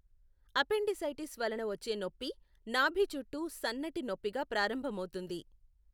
Appendicitis వలన వచ్చే నొప్పి నాభి చుట్టూ సన్నటి నొప్పిగా ప్రారంభమవుతుంది.